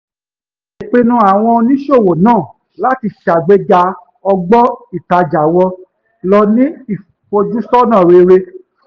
ìpinnu àwọn oníṣòwò náà láti sàgbéga ọgbọ́n ìtàjà wọn ló ní ìfojúsọ́nà rere